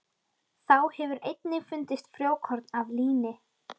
Þá hefur einnig fundist frjókorn af líni.